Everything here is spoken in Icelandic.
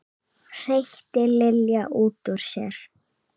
hreytti Lilja út úr sér.